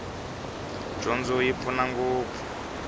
dyondzo yi pfuna ngopfu